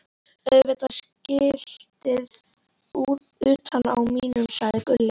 Auðvitað skiltið utan á mínum, sagði Gulli.